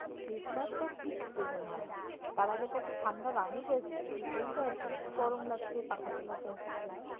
Christmass তো pick season হয় তার আগে তো একটা ঠাণ্ডার আমেজ আসবে সেটাই তো আসেনি গরম লাগছে পাখা চালাতে হচ্ছে।